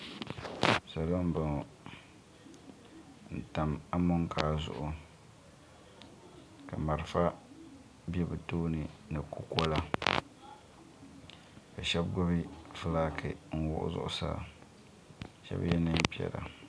salo m-bɔŋɔ n-tam amonkaa zuɣu ka malfa be bɛ tooni ni kukɔla ka shɛba gbubi fulaaki n-wuɣi zuɣusaa ka shɛba ye neen' piɛla.